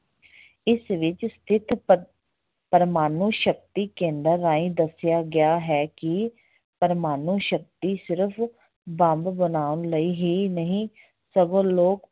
ਇਸ ਵਿੱਚ ਸਥਿਤ ਪ ਪ੍ਰਮਾਣੂ ਸ਼ਕਤੀ ਕੇਂਦਰ ਰਾਹੀਂ ਦੱਸਿਆ ਗਿਆ ਹੈ ਕਿ ਪ੍ਰਮਾਣੂ ਸ਼ਕਤੀ ਸਿਰਫ ਬੰਬ ਬਣਾਉਣ ਲਈ ਹੀ ਨਹੀਂ ਸਗੋਂ ਲੋਕ